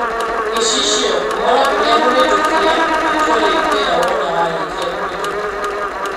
(Gicicio) Ũvoro ũrĩa muvĩtukie nĩtũrĩkwira wona warĩkia kuvĩtukio